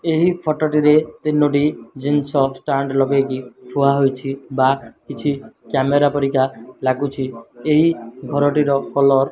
ଏହି ଫଟୋ ଟିରେ ତିନୋଟି ଜିନିଷ ଷ୍ଟାଣ୍ଡ ଲଗେଇକି ଥୁଆ ହୋଇଛି ବା କିଛି କ୍ୟାମେରା ପରିକା ଲାଗୁଛି ଏହି ଘର ଟିର କଲର --